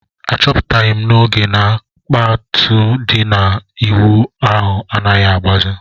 A chọpụtaghi m n'oge na kpatụ di na ụlọ ịwụ ahụ anaghị agbazi